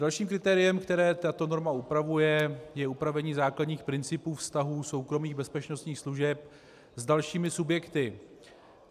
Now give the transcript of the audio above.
Dalším kritériem, které tato norma upravuje, je upravení základních principů vztahů soukromých bezpečnostních služeb s dalšími subjekty.